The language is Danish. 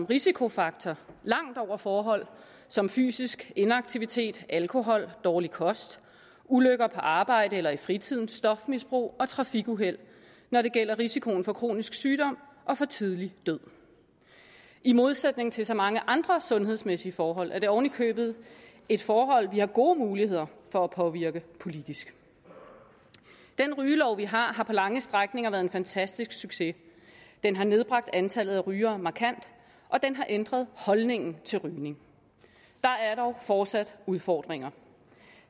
risikofaktor langt over forhold som fysisk inaktivitet alkohol dårlig kost ulykker på arbejdet eller i fritiden stofmisbrug og trafikuheld når det gælder risikoen for kronisk sygdom og for tidlig død i modsætning til så mange andre sundhedsmæssige forhold er det ovenikøbet et forhold vi har gode muligheder for at påvirke politisk den rygelov vi har har på lange strækninger været en fantastisk succes den har nedbragt antallet af rygere markant og den har ændret holdningen til rygning der er dog fortsat udfordringer